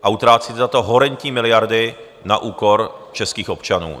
A utrácíte za to horentní miliardy na úkor českých občanů!